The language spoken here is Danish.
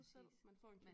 Præcis man